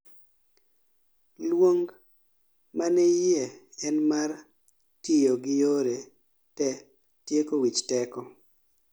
luong manayie en mar tiyo gi yore te tieko wich teko